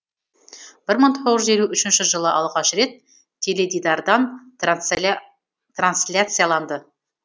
бір мың тоғыз жүз елу үшінші жылы алғаш рет теледидардан трансляцияланды